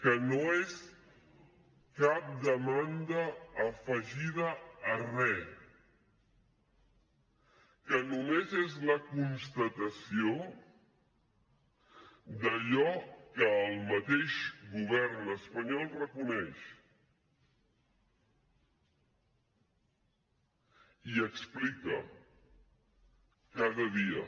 que no és cap demanda afegida a re que només és la constatació d’allò que el mateix govern espanyol reconeix i explica cada dia